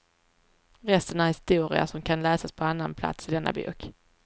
Resten är historia, som kan läsas på annan plats i denna bok.